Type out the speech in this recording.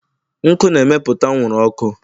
nkụ na-emepụta anwụrụ ọkụ.